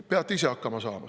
Peame ise hakkama saama.